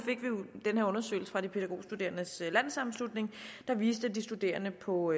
den her undersøgelse fra de pædagogstuderendes landssammenslutning der viste at de studerende på